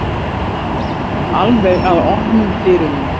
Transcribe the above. Alveg að opnum dyrunum.